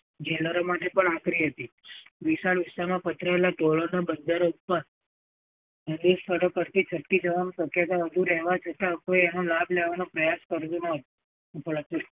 jailor માટે પણ આકરી હતી. વિશાળ વિસ્તારમાં પથરાયેલા તોલાના બંદર ઉપર ઉમે છોળો પરથી છટકી જવાની વધુ રહેવા છતાં કોઈ એ એનો લાભ લેવાનો પ્રયાસ કર્યો ન્ હતો.